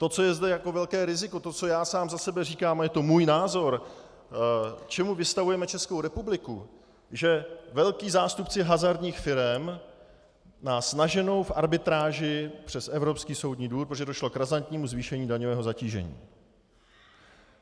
To, co je zde jako velké riziko, to, co já sám za sebe říkám, a je to můj názor, čemu vystavujeme Českou republiku, že velcí zástupci hazardních firem nás naženou v arbitráži před Evropský soudní dvůr, protože došlo k razantnímu zvýšení daňového zatížení.